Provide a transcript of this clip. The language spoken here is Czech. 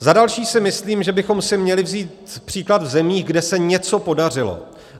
Za další si myslím, že bychom si měli vzít příklad ze zemí, kde se něco podařilo.